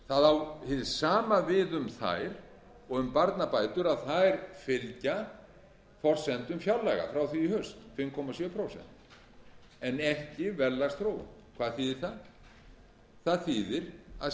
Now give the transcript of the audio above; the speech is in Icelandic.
það á hið sama við um þær og um barnabætur að þær fylgja forsendum fjárlaga frá því í haust fimm komma sjö prósent en ekki verðlagsþróun hvað þýðir það það þýðir að